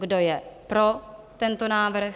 Kdo je pro tento návrh?